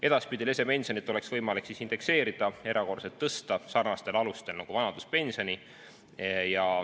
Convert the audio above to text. Edaspidi oleks lesepensioni võimalik indekseerida ja erakorraliselt tõsta sarnastel alustel nagu vanaduspensioni.